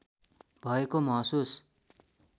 भएको महसुस